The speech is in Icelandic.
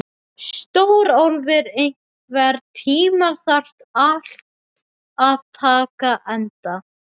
Stórólfur, einhvern tímann þarf allt að taka enda.